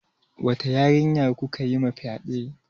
Wata yarinya kuka yima fyaɗe?